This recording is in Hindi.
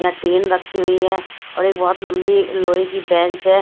यहाँ टीन रखी हुई है और एक बहुत लंबी लोहे की बेंच है।